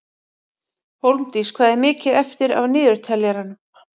Hólmdís, hvað er mikið eftir af niðurteljaranum?